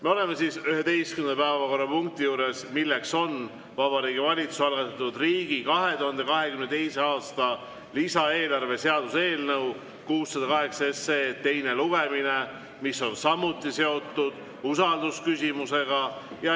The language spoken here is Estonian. Me oleme 11. päevakorrapunkti juures: Vabariigi Valitsuse algatatud riigi 2022. aasta lisaeelarve seaduse eelnõu 608 teine lugemine, mis on samuti seotud usaldusküsimusega.